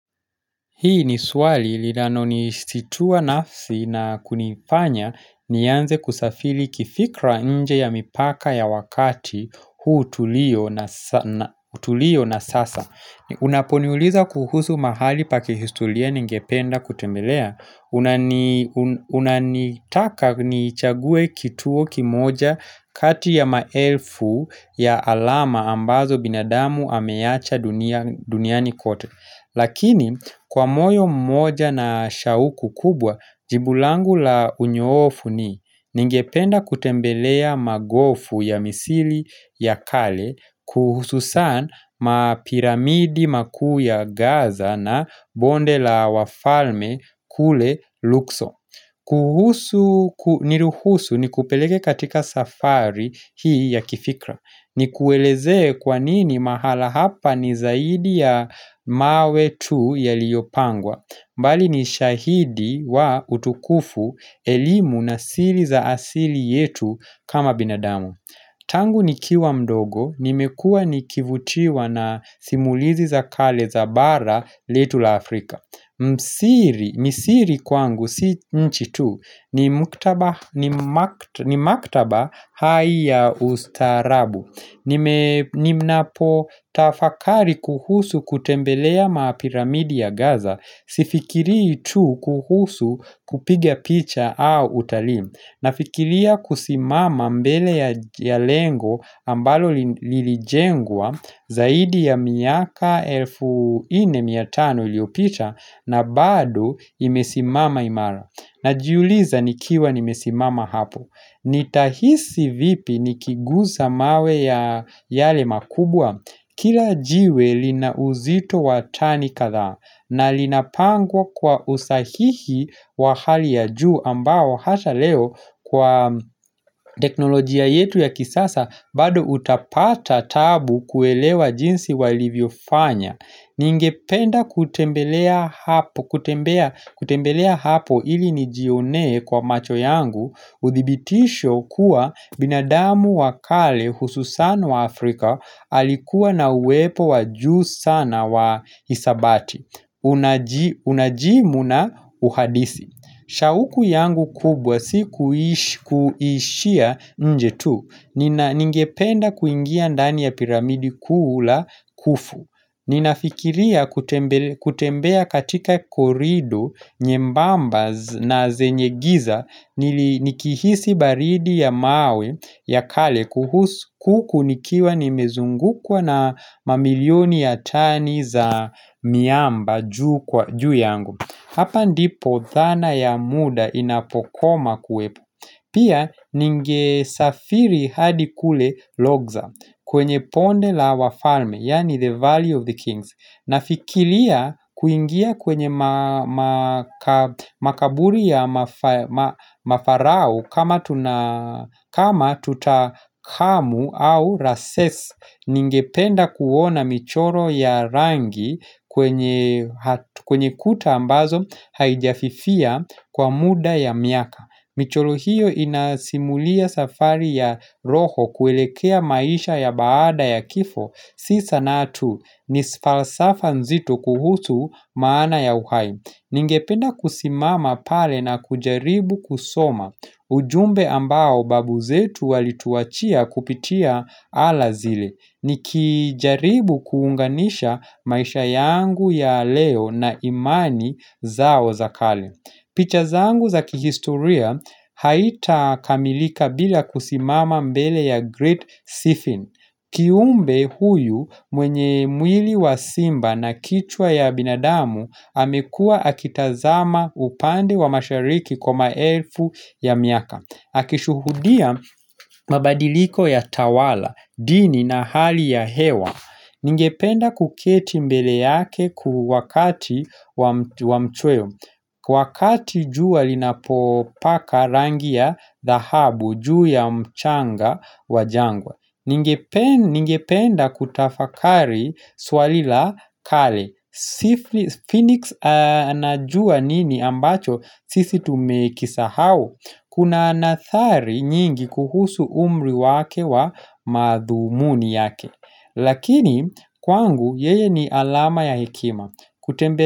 Hii ni swali linolo ni situa nafsi na kunifanya nianze kusafiri kifikra nje ya mipaka ya wakati huu tulio na sasa. Unaponiuliza kuhusu mahali pakihistoria ningependa kutembelea. Unanitaka nichangue kituo kimoja kati ya maelfu ya alama ambazo binadamu ameacha duniani kote. Lakini, kwa moyo mmoja na shauku kubwa, jibu langu la unyoofu ni Ningependa kutembelea magofu ya misili ya kale kuhusu san mapiramidi makuu ya gaza na bonde la wafalme kule lukso kuhusu, niruhusu ni kupeleke katika safari hii ya kifikra ni kuelezee kwanini mahala hapa ni zaidi ya mawe tu yaliyopangwa mbali ni shahidi wa utukufu, elimu na siri za asili yetu kama binadamu Tangu nikiwa mdogo, nimekua nikivutiwa na simulizi za kale za bara letu la Afrika Msiri Misiri kwangu si nchi tu ni maktaba hai ya ustaarabu Ninapo tafakari kuhusu kutembelea mapiramidi ya Gaza Sifikiri tu kuhusu kupiga picha au utalii Nafikiria kusimama mbele ya lengo ambalo lilijengwa zaidi ya miaka elfu nne mia tano iliopita na bado imesimama imara. Najiuliza nikiwa nimesimama hapo. Nitahisi vipi nikigusa mawe ya yale makubwa. Kila jiwe lina uzito wa tani kadhaa na linapangwa kwa usahihi wa hali ya juu ambao hata leo kwa teknolojia yetu ya kisasa bado utapata taabu kuelewa jinsi walivyo fanya. Ningependa kutembelea hapo ili nijionee kwa macho yangu Udhibitisho kuwa binadamu wakale hususano wa Afrika Alikuwa na uwepo wa juu sana wa hisabati Unajimu na uhadisi shauku yangu kubwa si kuishia nje tu Ningependa kuingia ndani ya piramidi kuu la kufu Ninafikiria kutembea katika korido nyembamba na zenye giza nikihisi baridi ya mawe ya kale kuhusu huku nikiwa nimezungukwa na mamilioni ya tani za miamba juu kwa juu yangu Hapa ndipo dhana ya muda inapokoma kuepo. Pia ningesafiri hadi kule logza kwenye ponde la wafalme, yaani the valley of the kings. Na fikilia kuingia kwenye makaburi ya mafarau kama tutakamu au rases ningependa kuona michoro ya rangi kwenye kuta ambazo haijafifia kwa muda ya miaka. Michoro hiyo inasimulia safari ya roho kuelekea maisha ya baada ya kifo. Sisa natu ni falsafa nzito kuhusu maana ya uhai. Ninge penda kusimama pale na kujaribu kusoma. Ujumbe ambao babu zetu walituachia kupitia ala zile. Nikijaribu kuunganisha maisha yangu ya leo na imani zao za kale. Pichazangu za kihistoria haita kamilika bila kusimama mbele ya Great Siphon. Kiumbe huyu mwenye mwili wa simba na kichwa ya binadamu amekua akitazama upande wa mashariki kwa maelfu ya miaka. Akishuhudia mabadiliko ya tawala, dini na hali ya hewa Ningependa kuketi mbele yake kuwakati wa mchweo Kwa wakati jua linapopaka rangi ya dhahabu juu ya mchanga wa jangwa Ningependa kutafakari swali la kale Phoenix anajua nini ambacho sisi tumekisahau Kuna nathari nyingi kuhusu umri wake wa madhumuni yake Lakini kwangu yeye ni alama ya hekima.